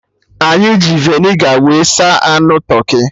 Anyị ji Vinegar wee saa anụ tụrkị